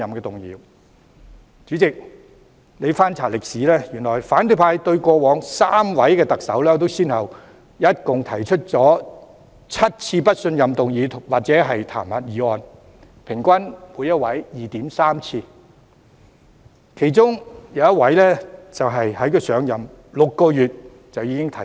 代理主席，翻查歷史，原來反對派對過往3位特首先後提出共7次不信任議案或彈劾議案，平均每位 2.3 次，其中一位更在上任6個月時已有相關議案提出。